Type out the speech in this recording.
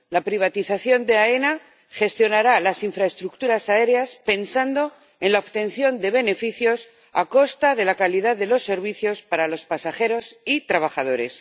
La privatización de AENA gestionará las infraestructuras aéreas pensando en la obtención de beneficios a costa de la calidad de los servicios para los pasajeros y trabajadores.